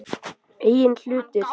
Eigin hlutir.